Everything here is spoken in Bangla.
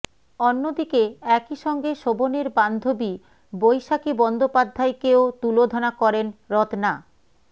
অন্যদিকে একইসঙ্গে শোভনের বান্ধবী বৈশাখী বন্দ্যোপাধ্যায়কেও তুলোধনা করেন রত্না